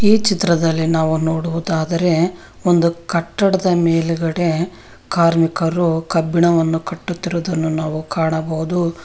ಈ ಚಿತ್ರದಲ್ಲಿ ನಾವು ನೋಡುವುದಾದರೆ ಒಂದು ಕಟ್ಟಡದ ಮೇಲ್ಗಡೆ ಕಾರ್ಮಿಕರು ಕಬ್ಬಿಣವನ್ನು ಕಟ್ಟುತ್ತಿರುದನ್ನು ನಾವು ಕಾಣಬಹುದು.